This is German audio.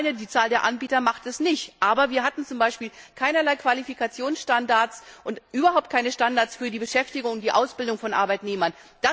Ganz allein die Zahl der Anbieter macht es nicht, aber wir hatten zum Beispiel keinerlei Qualifikationsstandards und überhaupt keine Standards für die Beschäftigung, für die Ausbildung von Arbeitnehmern.